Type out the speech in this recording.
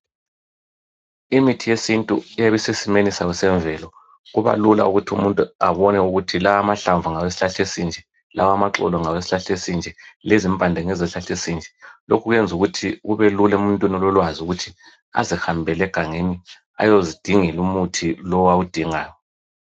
Imithi yesintu iyabe isesimeni sayo esemvelo. Kubalula ukuthi umuntu abone ukuthi lamahlamvu, ngawesihlahla esinje. Lawamaxolo, ngawesihlahla esinje. Lezimpande, ngezesihlahla esinje. Lokhu kwenza ukuthi kubelula emuntwini ololwazi, ukuthi azihambele egangeni. Ayezidingela umuthi lowo awudingayo.